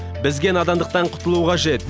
бізге надандықтан құтылу қажет